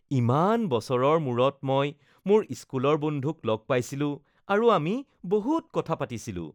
ইমান বছৰৰ মূৰত মই মোৰ স্কুলৰ বন্ধুক লগ পাইছিলো আৰু আমি বহুত কথা পাতিছিলো।